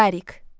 Darik.